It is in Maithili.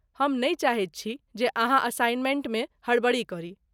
हम नहि चाहैत छी जे अहाँ असाइनमेंटमे हड़बड़ी करी।